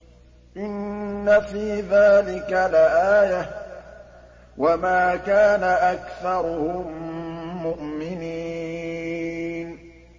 إِنَّ فِي ذَٰلِكَ لَآيَةً ۖ وَمَا كَانَ أَكْثَرُهُم مُّؤْمِنِينَ